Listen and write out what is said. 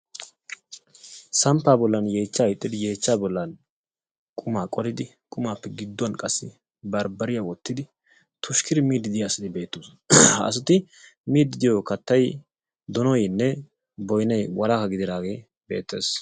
Samppaa bollan yeechchaa hiixxidi yeechchaa bollan qumaa qolidi qumaappe gidduwan qassi barbbariya wottidi tushkkidi miiddi diya asati beettoosona. Ha asati miiddi diyo kattay donoynne boynay walahan dididaagee beettees.